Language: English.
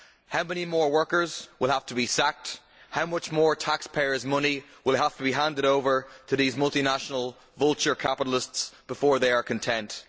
How many more workers will have to be sacked, how much more taxpayers' money will have to be handed over to these multinational vulture capitalists before they are content?